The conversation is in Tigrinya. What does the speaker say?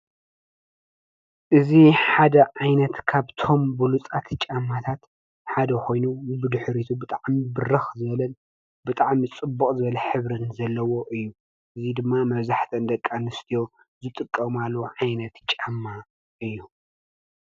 እዙ ሓደ ዓይነት ካብ ቶም ብሉጻት ጫማታት ሓደ ኾይኑ ብድኅሪቱ ብጥዓም ብርኽ ዘለን ብጥዕም ጽቡቕ ዘበለ ኅብርን ዘለዎ እዩ ።እዙይ ድማ መዛሕተ እንደቃንስትዮ ዘጥቀማሉ ዓይነት ጫማ እዩ።